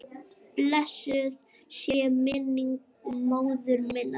Blessuð sé minning móður minnar.